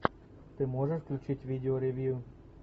ты можешь включить видео ревью